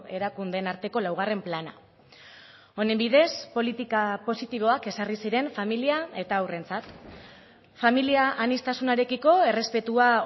erakundeen arteko laugarren plana honen bidez politika positiboak ezarri ziren familia eta haurrentzat familia aniztasunarekiko errespetua